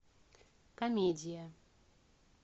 комедия